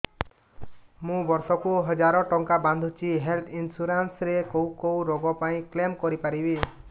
ମୁଁ ବର୍ଷ କୁ ହଜାର ଟଙ୍କା ବାନ୍ଧୁଛି ହେଲ୍ଥ ଇନ୍ସୁରାନ୍ସ ରେ କୋଉ କୋଉ ରୋଗ ପାଇଁ କ୍ଳେମ କରିପାରିବି